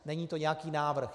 Není to nějaký návrh.